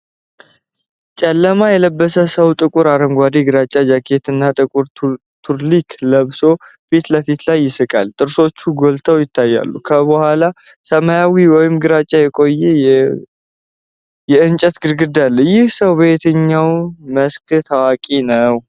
ጨለማ የለበሰ ሰው ጥቁር አረንጓዴ/ግራጫ ጃኬት እና ጥቁር ቱርሊንክ ለብሶ በፊት ለፊት ላይ ይስቃል፣ ጥርሶቹም ጎልተው ይታያሉ። ከኋላው ሰማያዊ ወይም ግራጫ የቆየ የእንጨት ግድግዳ አለ። ይህ ሰው በየትኛው መስክ ታዋቂ ነው?